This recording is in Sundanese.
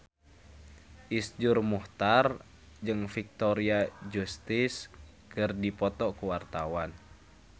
Iszur Muchtar jeung Victoria Justice keur dipoto ku wartawan